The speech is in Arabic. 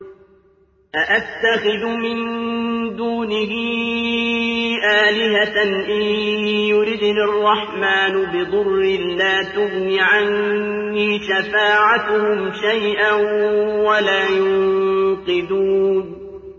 أَأَتَّخِذُ مِن دُونِهِ آلِهَةً إِن يُرِدْنِ الرَّحْمَٰنُ بِضُرٍّ لَّا تُغْنِ عَنِّي شَفَاعَتُهُمْ شَيْئًا وَلَا يُنقِذُونِ